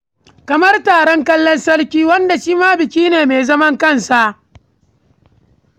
Kamar taron kallon sarki, wanda shi ma biki ne mai zaman kansa.